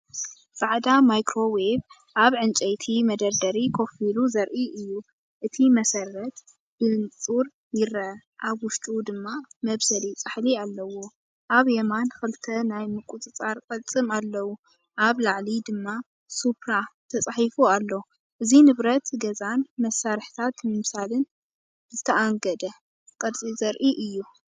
ጻዕዳ ማይክሮዌቭ ኣብ ዕንጨይቲ መደርደሪ ኮፍ ኢሉ ዘርኢ እዩ። እቲ መሰረት ብንጹር ይርአ፣ ኣብ ውሽጡ ድማ መብሰሊ ጻሕሊ ኣለዎ። ኣብ የማን ክልተ ናይ ምቁጽጻር ቅልጽም ኣለዉ፡ኣብ ላዕሊ ድማ “ሱፕራ”ተጻሒፉ ኣሎ። እዚ ንብረት ገዛን መሳርሒታት ምብሳልን ብዝተኣንገደ ቅርጺ ዘርኢ እዩ።